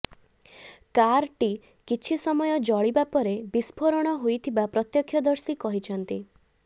କାରଟି କିଛି ସମୟ ଜଳିବା ପରେ ବିସ୍ପୋରଣ ହୋଇଥିବା ପ୍ରତ୍ୟକ୍ଷଦର୍ଶୀ କହିଛନ୍ତି